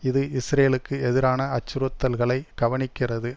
இது இஸ்ரேலுக்கு எதிரான அச்சுறுத்தல்களை கவனிக்கிறது